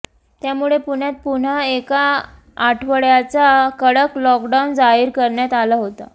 त्यामुळे पुण्यात पुन्हा एका आठवड्याचा कडक लॉकडाऊन जाहीर करण्यात आला होता